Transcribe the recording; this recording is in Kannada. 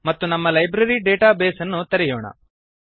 ಮತ್ತು ನಮ್ಮ ಲೈಬ್ರರಿ ಡೇಟಾ ಬೇಸ್ ಅನ್ನು ತೆರೆಯೋಣ